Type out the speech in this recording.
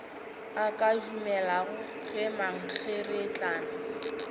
a ka dumelago ge mankgeretlana